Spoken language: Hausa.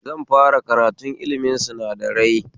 Zan fara karatun ilimin sinadarai